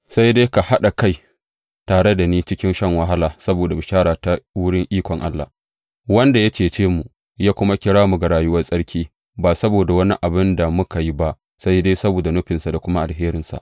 Sai dai ka haɗa kai tare da ni cikin shan wahala saboda bishara ta wurin ikon Allah, wanda ya cece mu ya kuma kira mu ga rayuwar tsarki ba saboda wani abin da muka yi ba sai dai saboda nufinsa da kuma alherinsa.